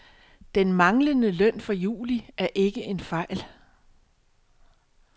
Den manglende løn for juli er ikke en fejl.